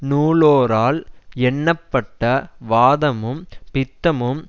நூலோரால் எண்ணப்பட்ட வாதமும் பித்தமும்